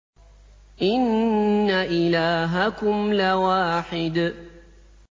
إِنَّ إِلَٰهَكُمْ لَوَاحِدٌ